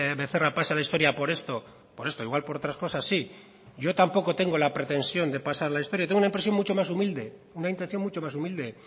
becerra pase a la historia por esto por esto igual por otras cosas sí yo tampoco tengo la pretensión de pasar a la historia tengo una intención mucho más humilde